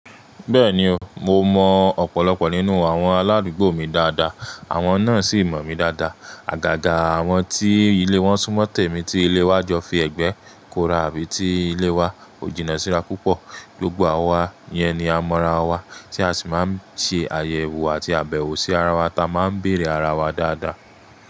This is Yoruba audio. Bẹ́ẹ̀ni o, mo mọ ọ̀pọ̀lọpọ̀ nínú àwọn aládùúgbò mi dáadáa, àwọn náà sì mọ̀ mí dáadáa. Àgàgà àwọn tí ilé wọn sún mọ́ tẹ̀mi ti ilé wa jọ fi ẹ̀gbẹ́ kóra bí i tí ilé wa ò jìnnà síra púpọ̀. Gbogbo wa yẹn ni a mọ̀ra wa tí a sì máa ń ṣe àyẹ̀wò àti àbẹ̀wò sí ara wa táa máa ń bèèrè ara wa dáadáa.